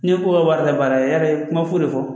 Ne ko ka wari labaara ya kuma foyi de fɔ